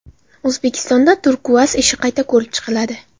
O‘zbekistonda Turkuaz ishi qayta ko‘rib chiqiladi.